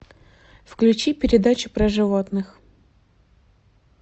включи передачу про животных